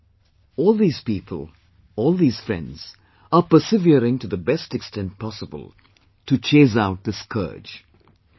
Friends, all these people, all these friends are persevering to the best extent possible to chase out this scourge